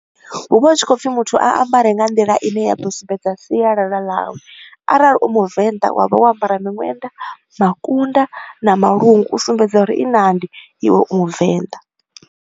Hu vha hu tshi khou pfi muthu a ambare nga nḓila ine ya ḓo sumbedza sialala ḽawe, arali u Muvenḓa wa vha wo ambara miṅwenḓa, makunda na malungu, u sumbedza uri i nandi iwe u Muvenḓa.